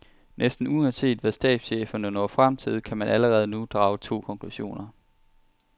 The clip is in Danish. Næsten uanset hvad stabscheferne når frem til, kan man allerede nu drage to konklusioner.